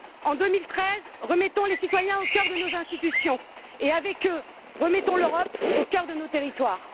En 2013, remettons les citoyens au cœur de nos institutions et, avec eux, remettons l'Europe au cœur de nos territoires.